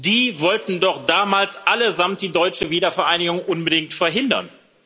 Die wollten doch damals allesamt die deutsche Wiedervereinigung unbedingt verhindern!